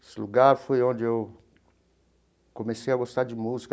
Esse lugar foi onde eu comecei a gostar de música.